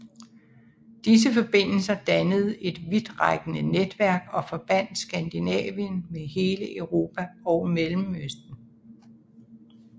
Disse forbindelser dannede et vidtrækkende netværk og forbandt Skandinavien med hele Europa og Mellemøsten